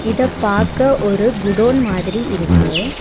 இத பாக்க ஒரு குடோன் மாதிரி இருக்கு.